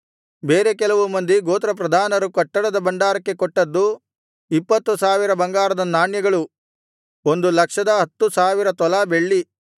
ಬೇರೆ ಕೆಲವು ಮಂದಿ ಗೋತ್ರಪ್ರಧಾನರು ಕಟ್ಟಡದ ಭಂಡಾರಕ್ಕೆ ಕೊಟ್ಟದ್ದು ಇಪ್ಪತ್ತು ಸಾವಿರ ಬಂಗಾರದ ನಾಣ್ಯಗಳು ಒಂದು ಲಕ್ಷದ ಹತ್ತು ಸಾವಿರ ತೊಲಾ ಬೆಳ್ಳಿ